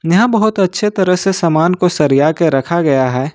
यहां बहुत अच्छी तरह से सामान को सरिया कर रखा गया है।